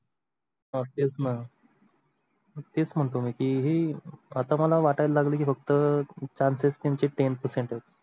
हा तेच णा तेच म्हणतो मी की ही आता मला वाटायला लागल की फक्त chances त्यांचे ten percent आहे.